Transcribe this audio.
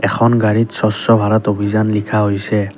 এখন গাড়ীত স্বচ্ছ ভাৰত অভিযান লিখা হৈছে।